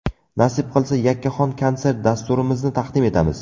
Nasib qilsa yakkaxon konsert dasturimizni taqdim etamiz.